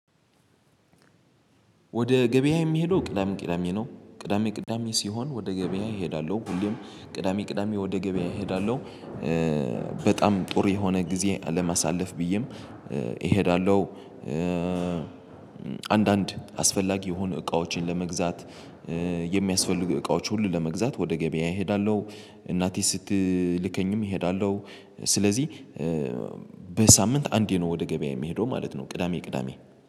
ወደ ገበያ የምሄደው ቅዳሜ ቅዳሜ ነው ቅዳሜ ቅዳሜ ሲሆን ወደ ገበያ እሄዳሉሁ ሁሌም ቅዳሜ ቅዳሜ ወደ ገበያ እሄዳለሁ። በጣም ጥሩ የሆነ ግዜ ለማሳለፍ ብዬም እሄዳለሁ። አንዳንድ አስፈላጊ የሆነ እቃዎችን ለመግዛት። የሚያስፈልጉ እቃዎች ሁሉ ለመግዛት ወደ ገበያ እሄዳለሁ። እናቴ ስትልከኝም እሄዳለሁ። ስለዚህ በሳምንት አንዴ ነው ወደ ገበያ የሚሄደው ማለት ነው። ቅዳሜ ቅዳሜ